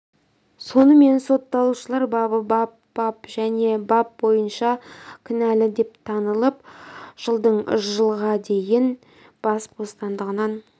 сонымен сотталушылар бабы бап бап және бап бойынша кінәлі деп танылып жылдың жылға дейін бас ботсандығынан